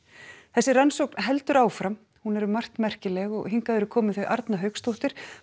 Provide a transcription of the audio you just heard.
þessi rannsókn heldur áfram hún er um margt merkileg og hingað eru komin þau Arna Hauksdóttir